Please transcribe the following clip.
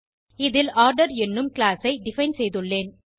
இதில் ஆர்டர் எனும் கிளாஸ் ஐ டிஃபைன் செய்துள்ளேன்